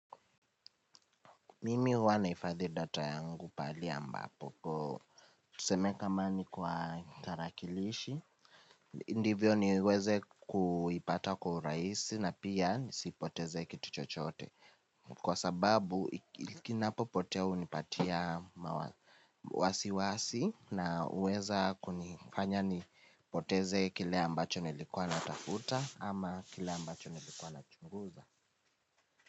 Mimi huwa naifadhi data yangu pahali ambapo ko tuseme kama ni kwa tarakilishi. Ndivyo niweze kuipata kwa uraisi na pia nisipoteze kituchochote. Kwa sababu kinapo potea unipatia wasi wasi na uweza kunifanya ni poteze kile ambacho nilikuwa na tafuta ama kile ambacho nilikuwa na chunguza.